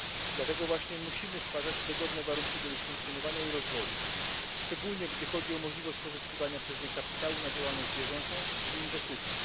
Dlatego właśnie musimy stwarzać dogodne warunki do ich funkcjonowania i rozwoju, szczególnie gdy chodzi o możliwość pozyskiwania przez nie kapitału na działalność bieżącą i inwestycje.